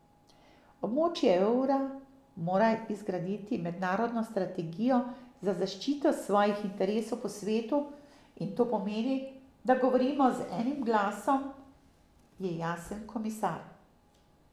Območje evra mora izgraditi mednarodno strategijo za zaščito svojih interesov po svetu in to pomeni, da govorimo z enim glasom, je jasen komisar.